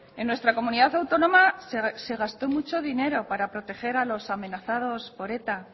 en nuestra comunidad autónoma se gastó mucho dinero para proteger a los amenazados por eta